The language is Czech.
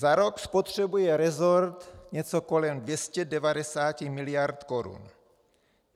Za rok spotřebuje resort něco kolem 290 miliard korun.